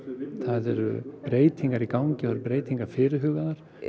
það eru breytingar í gangi og breytingar fyrirhugaðar